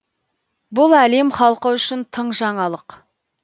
бұл әлем халқы үшін тың жаңалық